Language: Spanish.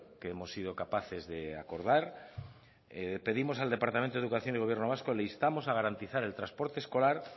que hemos sido capaces de acordar pedimos al departamento de educación del gobierno vasco le instamos a garantizar el transporte escolar